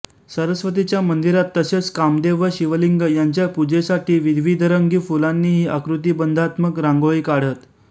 सरस्वतीच्या मंदिरात तसेच कामदेव व शिवलिंग यांच्या पूजेसाठी विविधरंगी फ़ुलांनीही आकृतिबंधात्मक रांगोळी काढत